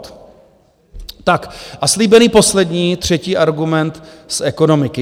Tak a slíbený poslední třetí argument z ekonomiky.